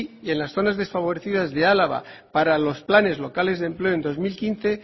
en las zonas desfavorecidas de álava para los planes locales de empleo en dos mil quince